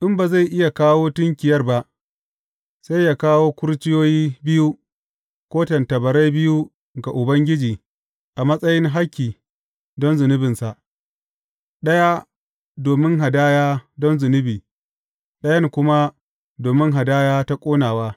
In ba zai iya kawo tunkiyar ba, sai yă kawo kurciyoyi biyu ko tattabarai biyu ga Ubangiji a matsayin hakki don zunubinsa, ɗaya domin hadaya don zunubi ɗayan kuma domin hadaya ta ƙonawa.